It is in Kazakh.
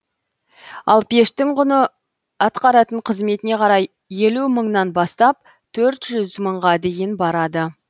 ал пештің құны атқаратын қызметіне қарай елу мыңнан бастап төрт жүз мыңға дейін барады